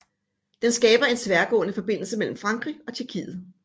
Den skaber en tværgående forbindelse mellem Frankrig og Tjekkiet